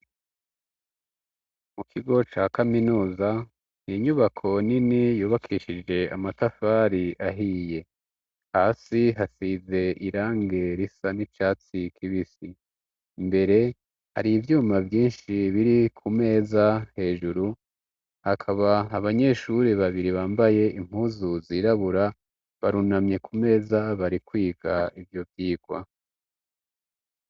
Mu kigo ca kaminuza inyubako nini yubakishije amatafari ahiye, hasi hasize irangi risa n'icatsi kibisi, imbere hari ivyuma vyinshi biri ku meza hejuru hakaba abanyeshure babiri bambaye impuzu zirabura barunamye ku meza bari kwiga ivyo vyigwa.